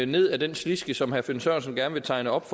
ned ad den sliske som herre finn sørensen gerne vil tegne op